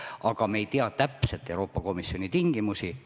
Samas, me ei tea täpselt Euroopa Komisjoni tingimusi.